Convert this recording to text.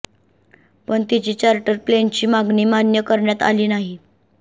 पण तिची चार्टर प्लेनची मागणी मान्य करण्यात आली नाही